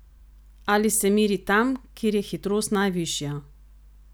Ali se meri tam, kjer je hitrost najvišja?